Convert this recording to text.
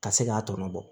Ka se k'a tɔ bɔ